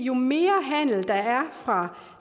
jo mere handel der er fra